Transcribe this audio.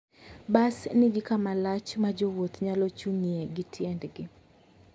Bas nigi kama lach ma jowuoth nyalo chung'ie gi tiendgi.